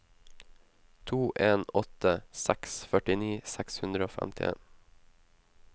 to en åtte seks førtini seks hundre og femtien